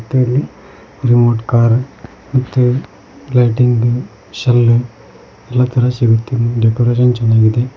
ಮತ್ತೆ ಇಲ್ಲಿ remote car ಮತ್ತೆ ಲೈಟಿಂಗ್ ಬಿಲ್ ಸೆಲ್ಲೂ ಎಲ್ಲಾ ತರ ಸಿಗುತ್ತೆ ಡೆಕೊರೇಷನ್ ಚನ್ನಾಗಿದೆ.